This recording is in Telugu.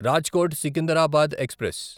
రాజ్కోట్ సికిందరాబాద్ ఎక్స్ప్రెస్